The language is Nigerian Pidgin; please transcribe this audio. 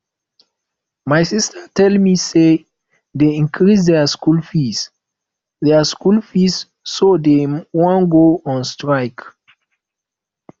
my sister tell me say dey increase their school fees their school fees so dey wan go on strike